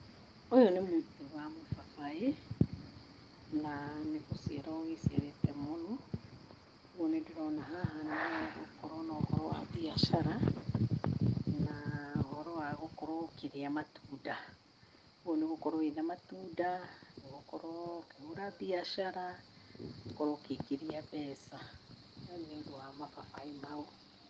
ũyũ nĩ mũtĩ wa mũbabaĩ na nĩgũciara ũgĩciarĩte mũno. Ũguo nĩndĩrona haha nĩhagũkorwo na ũhoro wa mbiacara, na ũhoro wa gũkorwo ũkĩrĩa matunda. Ũguo nĩ ũgũkorwo wĩna matunda, nĩũgũkorwo ũkĩhũra mbiacara, ũkorwo ũkĩingĩria mbeca nĩũndũ wa mababaĩ mau.